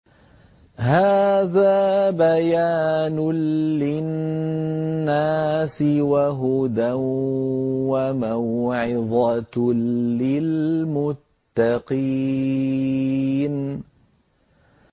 هَٰذَا بَيَانٌ لِّلنَّاسِ وَهُدًى وَمَوْعِظَةٌ لِّلْمُتَّقِينَ